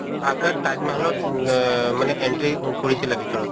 তাতে তাজ মাহালত অহ মানে entry কৰিছিলা ভিতৰত?